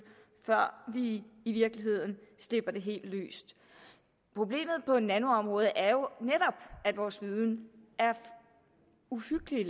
før vi i virkeligheden slipper det helt løs problemet på nanoområdet er jo at vores viden er uhyggelig